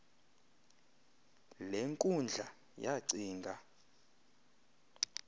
le nkundla yacinga